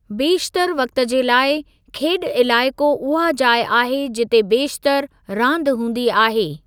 बेशितरु वक़्ति जे लाइ , "खेॾु इलाइक़ो" उहा जाइ आहे जिते बेशितरु रांदि हूंदी आहे।